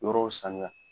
Yɔrɔw sanuya